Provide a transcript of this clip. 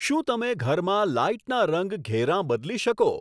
શું તમે ઘરમાં લાઈટના રંગ ઘેરાં બદલી શકો